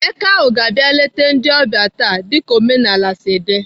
Eke ahụ ga-abịa eleta ndị ọbia taa. doka omenala si dị.